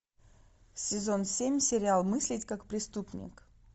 сезон семь сериал мыслить как преступник